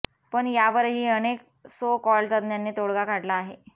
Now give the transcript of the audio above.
पण यावरही अनेक सो कॉल्ड तज्ज्ञांनी तोडगा काढला आहे